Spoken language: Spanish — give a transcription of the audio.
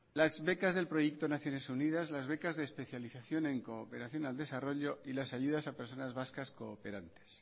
las becas del proyecto naciones unidas las becas de especialización en cooperación y desarrollo y las ayudas a personas cooperantes